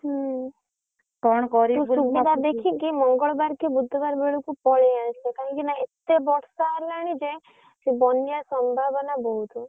ହୁଁ ତୁ ସୁବିଧା ଦେଖିକି ମଙ୍ଗଳବାର କି ବୁଧବାର ବେଳକୁ ପଳେଇଆସ କାହିଁକି ନା ଏତେ ବର୍ଷା ହେଲାଣି ଜେ ସେ ବନ୍ୟା ସମ୍ଭାବନା ବହୁତ।